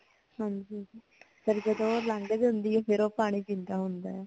ਹਾਂਜੀ ਫੇਰ ਜਦ ਓ ਜਾਂਦੀ ਹੁੰਦੀ ਹੈ ਫੇਰ ਪਾਣੀ ਪਿੰਦਾ ਹੈ ਓ